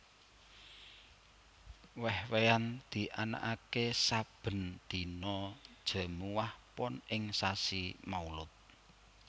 Wéh wéhan dianakaké sabèn dina Jèmuwah Pon ing sasi Maulud